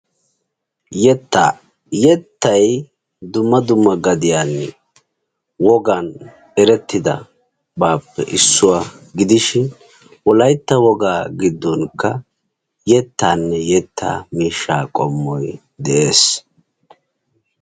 Yetta. Yettay dumma dumma gadiyan wogaan erettidabappe issuwa gidishin wolaytta wogaa gidonkka yettane yetta miishsha qommoy de'ees.